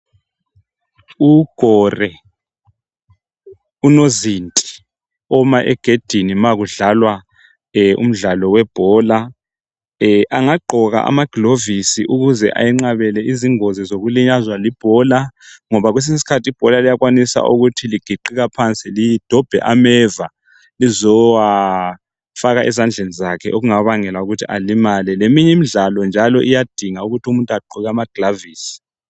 Ugore, unozinti oma egedini ma kudlalwa umdlala webhola angagqoka amagilovisi ukuze ayenqabele izingozi zokulinyazwa libhola ngoba kwesinye isikhathi ibhola liyakwanisa ukuthi ligiqika phansi lidobhe ameva lizowafaka ezandleni zakhe okungabangela ukuthi alimale. Leminye imidlalo njalo iyadinga ukuthi umuntu agqoke amagilovisi.